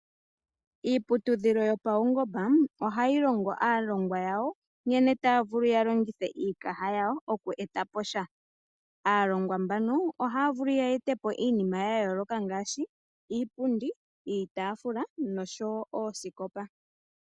Iiputudhilo yopaungomba ohayi longo aalongwa yawo nkene taya vulu yalongithe iikaha yawo oku eta po sha. Aalongwa mbaka ohaya vulu ye ete po iinima ya yooloka ngaashi iipundi, iitafula nosho wo oosikopa.